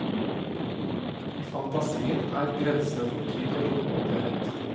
I fantasien er grensene for tid og rom opphevet.